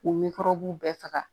K'u nikɔrɔbuw bɛɛ faga